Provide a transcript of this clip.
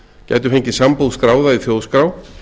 gætu fengið sambúð skráða í þjóðskrá